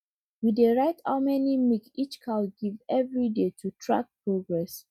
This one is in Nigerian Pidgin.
we dey write how many milk each cow give every day to track progress